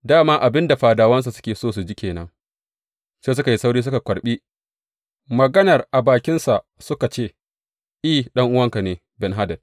Da ma abin da fadawan suke so su ji ke nan, sai suka yi sauri, suka karɓi maganar a bakinsa, suka ce, I, ɗan’uwanka, Ben hadad!